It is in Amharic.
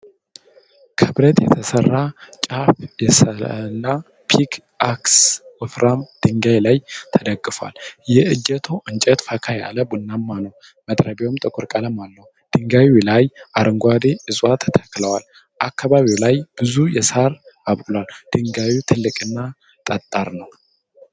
ከብረት የተሰራ ጫፉ የሰላ ፒክ አክስ ወፍራም ድንጋይ ላይ ተደግፎአል። የእጀታው እንጨት ፈካ ያለ ቡናማ ነው። መጥረቢያው ጥቁር ቀለም አለው። ድንጋዩ ላይ አረንጓዴ ዕፀዋት ተክለዋል። አካባቢው ላይ ብዙ ሣር አብቅሏል። ድንጋዩ ትልቅና ጠጣር ነው።